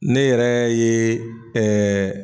Ne yɛrɛ ye ɛɛ